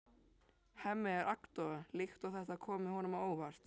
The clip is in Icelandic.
Hemmi er agndofa líkt og þetta komi honum á óvart.